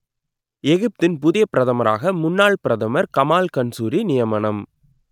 எகிப்தின் புதிய பிரதமராக முன்னாள் பிரதமர் கமால் கன்சூரி நியமனம்